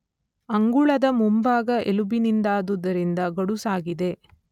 ಅಂಗುಳದ ಮುಂಭಾಗ ಎಲುಬಿನಿಂದಾದುದರಿಂದ ಗಡುಸಾಗಿದೆ